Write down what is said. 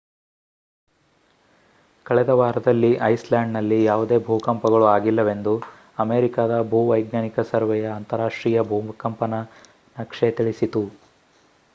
ಕಳೆದ ವಾರದಲ್ಲಿ ಐಸ್‍‌ಲ್ಯಾಂಡ್‌ನಲ್ಲಿ ಯಾವುದೇ ಭೂಕಂಪಗಳು ಆಗಿಲ್ಲವೆಂದು ಅಮೇರಿಕಾದ ಭೂವೈಜ್ಞಾನಿಕ ಸರ್ವೆಯ ಅಂತಾರಾಷ್ಟ್ರೀಯ ಭೂಕಂಪನ ನಕ್ಷೆ ತಿಳಿಸಿತು